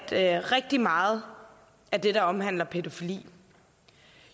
at rigtig meget af det der omhandler pædofili